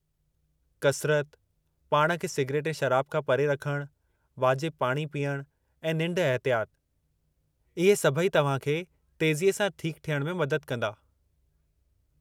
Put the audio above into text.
कसरत, पाणि खे सिगरेट ऐं शराब खां परे रखणु, वाजिब पाणी पीइणु ऐं निंढ एहतियात, इहे सभई तव्हां खे तेज़ीअ सां ठीकु थियण में मदद कंदा।